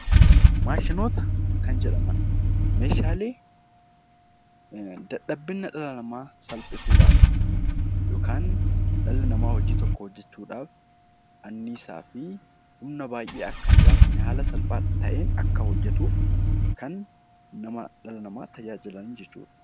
Maashinoota kan jedhaman meeshaalee dadhabina dhala namaa salphisuu dhaaf yookaan dhalli namaa hojii tokko hojjechuu dhaaf annisaa fi humna baay'ee akka hin gaafanne haala salphaa ta'een akka hojjetuuf kan dhala namaa tajaajilan jechuu dha.